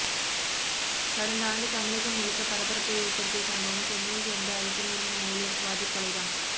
கடந்த ஆண்டு தமிழகம் முழுக்க பரபரப்பை ஏற்படுத்திய சம்பவம் சென்னையை சேர்ந்த ஐடி நிறுவன ஊழியர் சுவாதி கொலை தான்